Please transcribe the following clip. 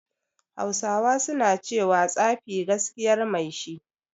Hausawa suna cewa "Tsafi gaskiyar mai shi"